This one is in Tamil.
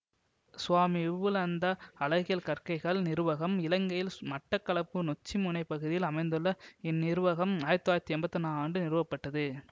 சுவாமி விபுலந்த அழகியல் கற்கைகள் நிறுவகம் இலங்கையில் மட்டக்களப்பு நொச்சிமுனை பகுதியில் அமைந்துள்ள இந்நிறுவகம் ஆயிரத்தி தொள்ளாயிரத்தி எம்பத்தி ஒன்னா ஆண்டு நிறுவப்பட்டது